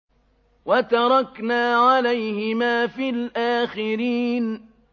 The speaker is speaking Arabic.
وَتَرَكْنَا عَلَيْهِمَا فِي الْآخِرِينَ